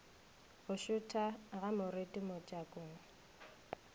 go šutha ga moriti mojakong